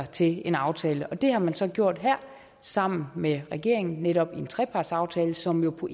til en aftale det har man så gjort her sammen med regeringen netop i en trepartsaftale som jo på